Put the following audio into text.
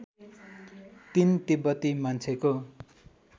३ तिब्बती मान्छेको